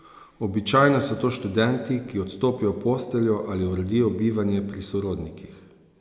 Običajno so to študenti, ki odstopijo posteljo ali uredijo bivanje pri sorodnikih.